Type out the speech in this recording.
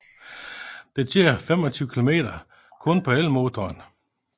Den kører 25 km kun på elmotoren